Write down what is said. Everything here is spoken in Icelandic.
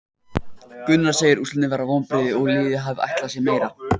Gunnar segir úrslitin vera vonbrigði og að liðið hafi ætlað sér meira.